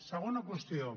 segona qüestió